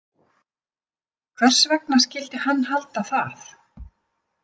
Hvers vegna skyldi hann halda það?